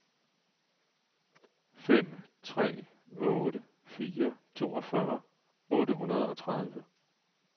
fem tre otte fire toogfyrre otte hundrede og tredive